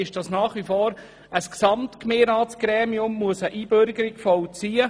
Zum einen muss nach wie vor ein Gesamtgemeinderatsgremium eine Einbürgerung vollziehen.